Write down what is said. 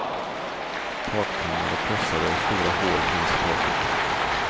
Takpannor var krossade och stora hål fanns i taket.